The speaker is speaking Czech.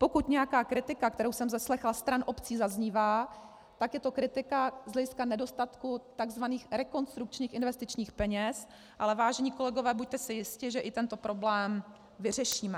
Pokud nějaká kritika, kterou jsem zaslechla stran obcí, zaznívá, tak je to kritika z hlediska nedostatku tzv. rekonstrukčních investičních peněz, ale vážení kolegové, buďte si jisti, že i tento problém vyřešíme.